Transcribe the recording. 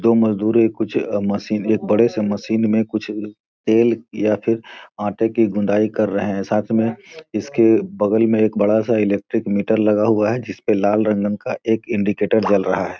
दो मजदूर हैं कुछ मशीन एक बड़े से मशीन कुछ तेल या फिर आटे की गुदायीं कर रहे हैं साथ में इसके बगल में एक बड़ा सा इलेक्ट्रिक मीटर लगा है जिसमें एक लाल रंग का एक इंडिकेटर जल रहा है।